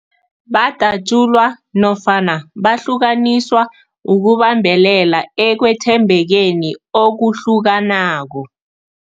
Badatjulwa nofana bahlukaniswa ukubambelela ekwethembekeni okuhlukanako.